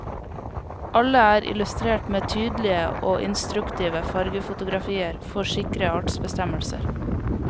Alle er illustrert med tydelige og instruktive fargefotografier for sikre artsbestemmelser.